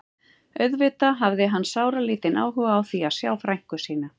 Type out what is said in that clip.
Auðvitað hafði hann sáralítinn áhuga á því að sjá frænku sína.